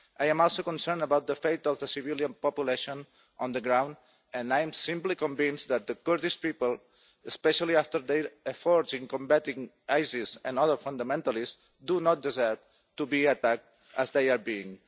I am also concerned about the fate of the civilian population on the ground and I am convinced that the Kurdish people, especially after their efforts in combating ISIS and other fundamentalists, do not deserve to be attacked as they are being.